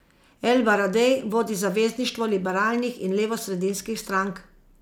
El Baradej vodi zavezništvo liberalnih in levosredinskih strank.